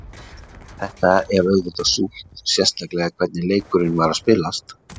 Þetta er auðvitað súrt, sérstaklega hvernig leikurinn var að spilast.